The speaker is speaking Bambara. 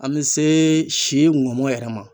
An bɛ se si ŋɔmɔ yɛrɛ ma.